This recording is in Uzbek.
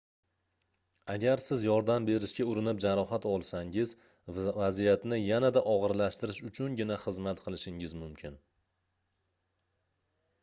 agar siz yordam berishga urinib jarohat olsangiz vaziyatni yanada ogʻirlashtirish uchungina xizmat qilishingiz mumkin